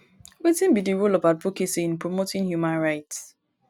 wetin be di role of advocacy in promoting human rights?